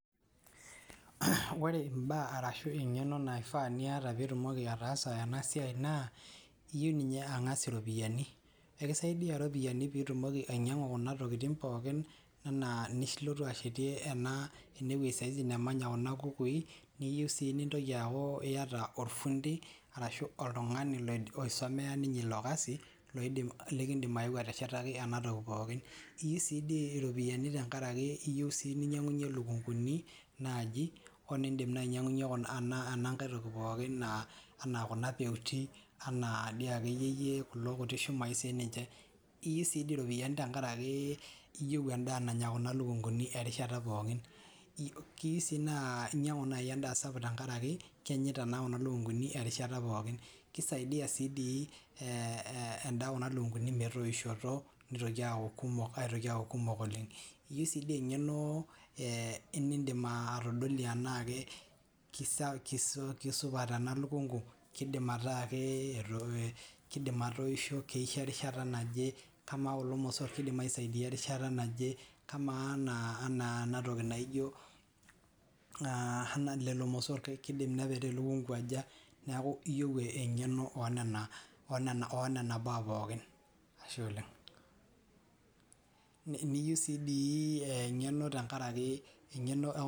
Ore imbaa arashu engeno naifa niata pitumoki ataas ena siai naa iyieu ninye angas iropiyiani , ekisaidia iropiyiani pitumoki ainyiangu kuna tokitin pookin anaa inilotu ashetie ena , enewuei saizi namanya kuna kukui, niyieu sii nintoki aaku iata orfundi arashu oltungani loidipa aisomea ninye ilo kasi loidim , likindim aeu ateshetaki enatoki pookin. Iyi sidii iropiyiani tenkaraki iyieu sii ininyiangunyie lukunguni naji onindim naa ainyiangunyie enankae toki pookin anaa kuna peuti anaa dii akeyieyie kulo kuti shumai siniche. iyi sidii iropiyiani tenkaraki , iyieu endaa nanya kuna lukunguni erishata pookin, iyi sii naa inyiangu nai endaa sapuk tenkaraki kenyita naa kuna lukunguni erishata pookin . Kisaidia sidii ee endaa kuna lukunguni metoishoto nitoki aaku kumok , aitoki aaku kumok oleng , iyi sidii engeno ee nindim atodolie enaake kisa, kisupat ena lukungu , kidim ataa ke etoo, kidim ataa keisho , keisho erishata naje ,kamaa kulo mosor kidim aisaidia erishata naje kamaa anaa , anaa enatoki naijo aa lelo mosor kidim nepetaa elukungu aja , niaku iyieu engeno onena , onena , onena baa pookin , ashe oleng, niyi siii engeno tenkaraki.